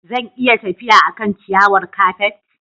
Zan iya tafiya a kan ciyawar kafet?